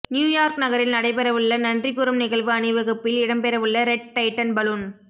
new York நகரில் நடைபெறவுள்ள நன்றி கூறும் நிகழ்வு அணிவகுப்பில் இடம்பெறவுள்ள ரெட் டைட்டன் பலூன்